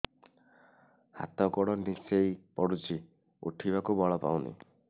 ହାତ ଗୋଡ ନିସେଇ ପଡୁଛି ଉଠିବାକୁ ବଳ ପାଉନି